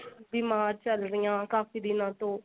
ਬੀਮਾਰ ਚੱਲ ਰਹੀ ਹਾ ਕਾਫ਼ੀ ਦਿਨਾਂ ਤੋਂ